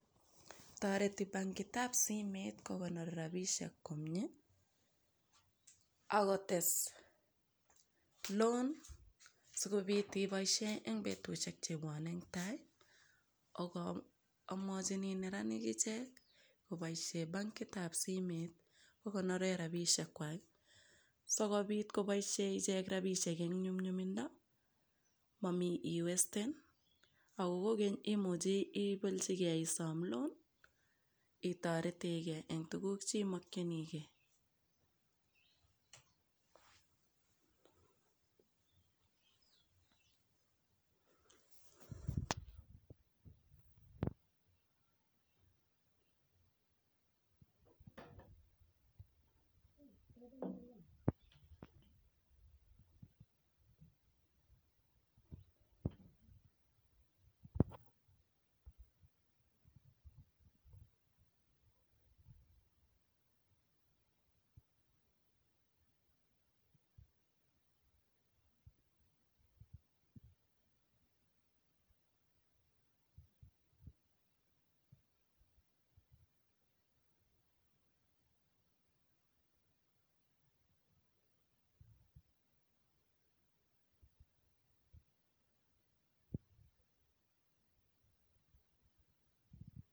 Toret bankitab simeet kokonor robishek komie, ak kotes loan sikobit ibaishen eng betushek chebwonei eng tai. Agoo amwajinii neranik ichek koboishee bankitab simeet kokonore robishek kwai, So kobiit koboishe ichek robishek eng nyumnyumindo mami iwesten ako kogeny imuchi ipeljigei isoom loan itaretegei eng tuguk chemokjinigei.